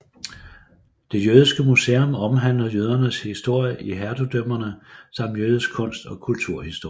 Det jødiske museum omhandler jødernes historie i hertugdømmerne samt jødisk kunst og kulturhistorie